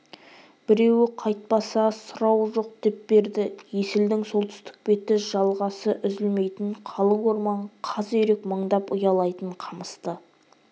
біреуі қайтпаса сұрауы жоқ деп берді есілдің солтүстік беті жалғасы үзілмейтін қалың орман қаз үйрек мыңдап ұялайтын қамысты